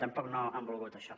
tampoc no ho han volgut això